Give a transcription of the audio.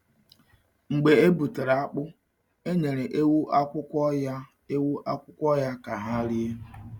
Mgbe e butere akpụ, a nyere ewu akwụkwọ ya ewu akwụkwọ ya ka ha rie.